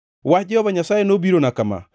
Wach Jehova Nyasaye nobirona kama: